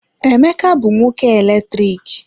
Emeka bụ nwoke eletriki.